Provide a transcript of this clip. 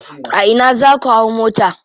A ina za ku hau mota.